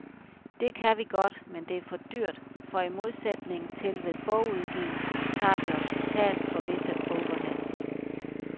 Det kan vi godt, men det er dyrt, for i modsætning til ved bogudgivelsen tager vi os betalt for visse overheads.